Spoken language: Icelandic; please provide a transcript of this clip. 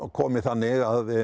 komið þannig að